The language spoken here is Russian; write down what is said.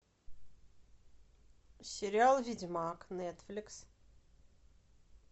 сериал ведьмак нетфликс